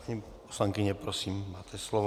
Paní poslankyně, prosím, máte slovo.